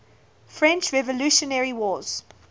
french revolutionary wars